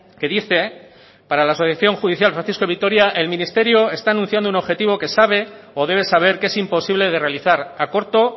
que dice para la asociación judicial francisco de vitoria el ministerio está anunciando un objetivo que sabe o debe saber que es imposible de realizar a corto